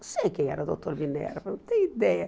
Não sei quem era o doutor Minerva, não tenho ideia.